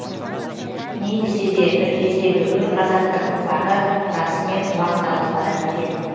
не десе де бір кездегі өр қазақтың ұрпағы расымен уақталып барады екен